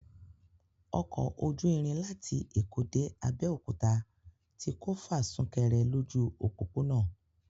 Ọkọ ojú irin láti Èkó dé Abẹ́òkúta tí kò fa súkere lójú òpópónà